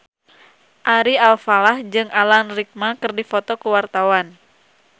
Ari Alfalah jeung Alan Rickman keur dipoto ku wartawan